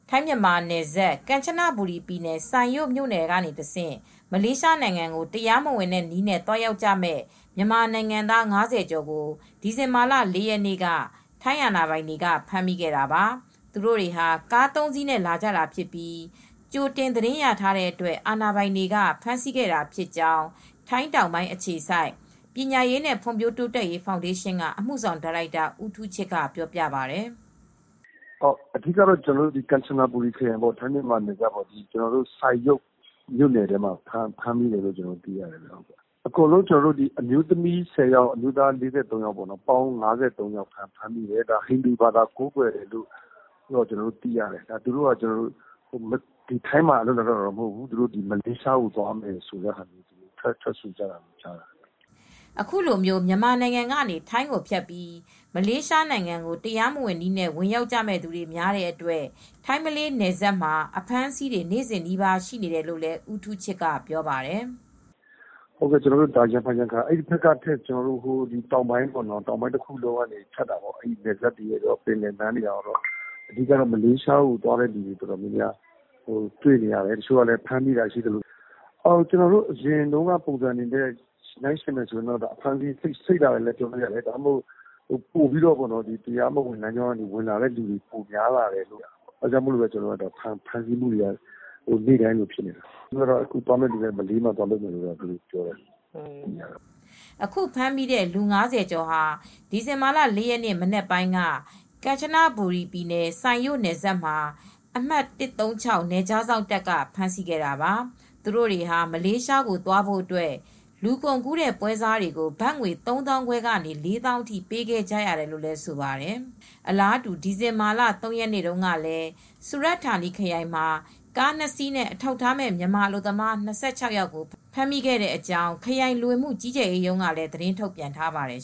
ထိုင်းမြန်မာနယ်စပ် ကမ်ချနဘူရီပြည်နယ် စိုင်ရို့ မြို့နယ်ကနေတဆင့် မလေးရှားနိုင်ငံကို တရားမဝင်နည်းနဲ့ သွားရောက်ကြမယ့် မြန်မာနိုင်ငံသား ၅၀ ကျော်ကို ဒီဇင်ဘာလ ၄ ရက်နေ့က ထိုင်းအာဏာပိုင်တွေက ဖမ်းမိခဲ့တာပါ ။ သူတို့တွေဟာ ကား၃စီးနဲ့ လာကြတာဖြစ်ပြီး ကြိုတင်သတင်းရတဲ့အတွက် အာဏာပိုင်တွေက ဖမ်းဆီးခဲ့တာဖြစ်ကြောင်း ထိုင်းတောင်ပိုင်း အခြေစိုက် ပညာရေးနဲ့ ဖွံ့ဖြိုးတိုးတက်ရေး ဖောင်ဒေးရှင်း က အမူဆောင် ဒါရိုက်တာ ဦးထူးချစ် က ပြောပါတယ် ။ " အဓိက ကတော့ ကမ်ချနဘူရီပြည်နယ် ထိုင်း မြန်မာနယ်စပ် စိုင်ရို့မြိုနယ်ထဲ မှာ ဖမ်းမိတာပါ။ အကုန်လုံးကတော့ အမျိုးသမီး ၁၀ယောက် အမျိုးသား ၄၃ ယောက်၊ အားလုံးပေါင်း ၅၃ယောက်ပါ ၊ ဟိန္ဒူဘာသာဝင်တွေလို့ သိရပါတယ် ။ သူတို့က ထိုင်းမှာအလုပ်လုပ်ဖို့ မဟုတ်ဘူး ။ မလေးရှားကိုသွားပြီး အလုပ်လုပ်မယ့်သူတွေပါ " အခုလိုမျိုး မြန်မာနိုင်ငံကနေ ထိုင်းကိုဖြတ်ပြီး မလေးရှားကို တရားမဝင်နည်းနဲ့ ဝင်ရောက်ကြတဲ့သူတွေများတဲ့အတွက် ထိုင်း ၊ မလေးနယ်စပ်မှာ အဖမ်းအဆီးတွေ နေ့စဉ်နီးပါး ရှိနေတယ်လို့လည်း ဦးထူးချစ် က ပြောပါတယ်။ " ကျနော်တို့သိတာက ရံဖန်ရံခါ အဲဒီဘက်ထက် တောင်ပိုင်းတခုလုံးကကော ပင်လယ်ဘက်ကကော နယ်စပ်တွေကကော ဖြတ်ပြီးသွားကြတယ် ။ မလေးရှား ကို သွားတဲ့သူတွေ အတော်များများ တွေ့နေရတယ် ။ တချို့လည်း ဖမ်းမိတာရှိသလို အရင်တုန်းက ပုံစံတွေနဲ့ နှိုင်းယှဉ်မယ်ဆိုရင် အခုဟာက ပိုပြီး အဖမ်းအဆီးတွေ စိပ်လာတာတွေ့ရတယ်။ တရားမဝင် လမ်းကဝင်လာတာတွေများလို့ အခုလို ဖမ်းဆီးတာတွေ ဖြစ်နေတာပါ ။ အခုသွားမယ့် သူတွေကတော့ မလေးရှား ကို သွားမယ်သူတွေပါ" အခုဖမ်းမိတဲ့လူ ၅၀ ကျော်ဟာ ဒီဇင်ဘာလ ၄ ရက်နေ့ မနက်ပိုင်းက ကန်ချဘူရီ စိုင်ရို့ နယ်စပ်မှာ အမှတ် ၁၃၆ နယ်ခြားစောင့်တပ်ဖွဲ့ က ဖမ်းဆီးခဲ့တာပါ။ သူတို့တွေဟာ မလေးရှား ကို သွားဖို့အတွက် လူကုန်ကူးတဲ့ ပွဲစားတွေကို ဘတ်ငွေ ၃သောင်းခွဲကနေ ၄ေ သာင်းအထိ ပေးခဲ့ကြရတယ်လို့ဆိုပါတယ်။ အလားတူ ဒီဇင်ဘာလ ၃ရက်နေ့ကလည်း စူရတ်ဌာနီခရိုင် မှာလည်း ကားနှစ်စီးနဲ့ အထောက်အထားမဲ့ မြန်မာအလုပ်သမား ၂၆ ဦးကို ဖမ်းဆီးရမိကြောင်း ခရိုင်လူဝင်မှု ကြီးကြပ်ရေးရုံးက သတင်းထုတ်ပြန်ထားပါတယ်